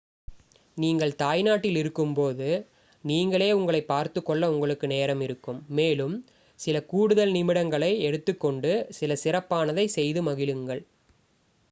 நீங்கள் உங்கள் தாய்நாட்டில் இருக்கும்போது நீங்களே உங்களைப் பார்த்துக்கொள்ள உங்களுக்கு நேரம் இருக்கும் மேலும் சில கூடுதல் நிமிடங்களை எடுத்துக் கொண்டு சில சிறப்பானதை செய்து மகிழுங்கள்